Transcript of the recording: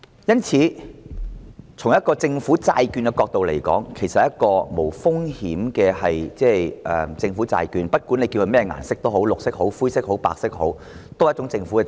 因此，從政府債券的角度而言，這其實是一種無風險的政府債券，不管叫它甚麼顏色也好，無論是綠色、灰色或白色也好，也是一種政府債券。